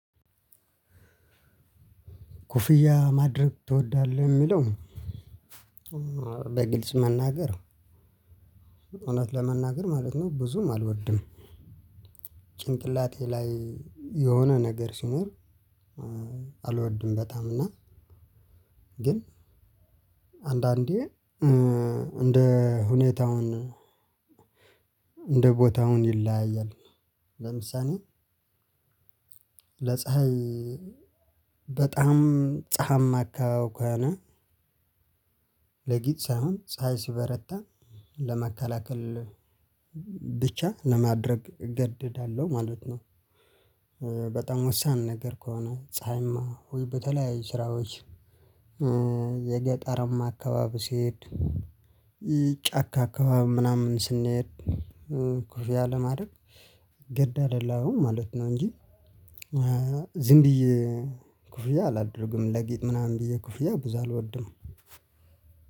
ኮፍያ ማድረግ ትወዳለህ እሚለው በግልጽ መናገር እውነት ለመናገር ማለት ነው ብዙም አልወድም። ጭንቅላቴ ላይ የሆነ ነገር ሲኖር። አልወድም በጣም እና። ግን አንዳንዴ እንደ ሁኔታውን እንደ ቦታውን ይለያያል። ለምሳሌ ለፀሀይ በጣም ፀሀማ አካባቢ ከሆነ ለጌጥ ሳይሆን ፀሀይ ሲበረታ ለመከላከል ብቻ ለማድረግ እገደዳለሁ ማለት ነው። በጣም ወሳን ነገር ከሆነ ፀሀያማ በተለያዩ ስራዎች። የገጠርም አካባቢ ስሄድ። ጫካ አካባቢ ምናምን ስንሄድ ኮፍያ ለማድረግ ግድ አይደለሁም ማለት ነው እንጂ። ዝም ብዬ ኮፍያ አላደርግም ለጌጥ ምናምን ብዬ ኮፍያ ብዙ አልወድም።